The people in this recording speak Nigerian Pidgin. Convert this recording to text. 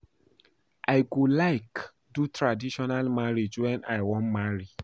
I go like do traditional marriage wen I wan marry